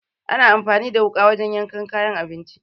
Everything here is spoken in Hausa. Ana anfani da wuƙa wajen yanka kayan abinci.